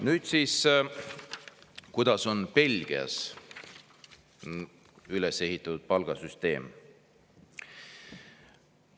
Nüüd siis, kuidas on Belgias palgasüsteem üles ehitatud?